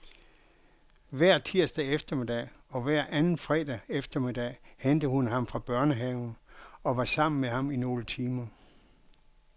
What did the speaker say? Hver tirsdag eftermiddag og hver anden fredag eftermiddag hentede hun ham fra børnehave og var sammen med ham i nogle timer.